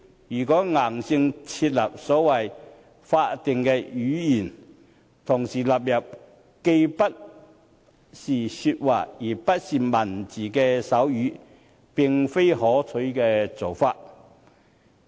如果硬性設立所謂法定語言，同時納入既不是說話，亦不是文字的手語，並非可取的做法。